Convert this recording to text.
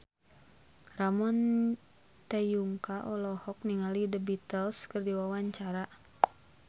Ramon T. Yungka olohok ningali The Beatles keur diwawancara